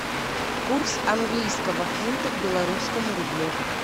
курс английского фунта к белорусскому рублю